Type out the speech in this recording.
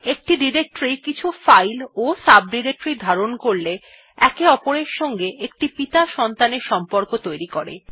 একটি ডিরেক্টরী কিছু ফাইল ও সাবডিরেক্টরির ধারণ করলে একে অপরের সঙ্গে একটি পিতা- সন্তানের সম্পর্ক তৈরী করে